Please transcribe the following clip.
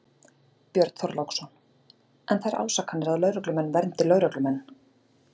Björn Þorláksson: En þær ásakanir að lögreglumenn verndi lögreglumenn?